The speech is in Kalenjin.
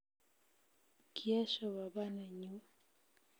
Kiesho baba nenyu